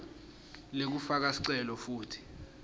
lekufaka sicelo futsi